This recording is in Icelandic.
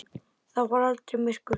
Það var aldrei myrkur.